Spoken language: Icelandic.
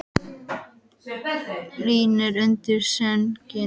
Í hlýjunni undir sænginni hjá Guðbergi varð Lóa Lóa rólegri.